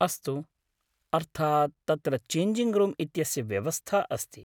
अस्तु, अर्थात्, तत्र चेञ्जिङ्ग् रूम् इत्यस्य व्यवस्था अस्ति।